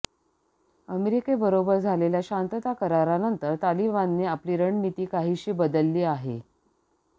अमेरिकेबरोबर झालेल्या शांतता करारानंतर तालिबानने आपली रणनिती काहीशी बदलली आहे